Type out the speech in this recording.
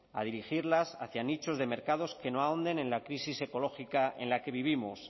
a dirigirlas hacia nichos de mercados que ahonden en la crisis ecológica en la que vivimos